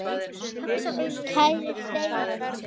Kæri Steini.